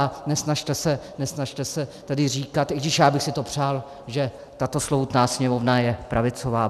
A nesnažte se tady říkat - i když já bych si to přál - že tato slovutná Sněmovna je pravicová.